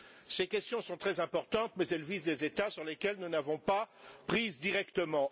Ces questions sont très importantes mais elles visent des États sur lesquels nous n'avons pas prise directement.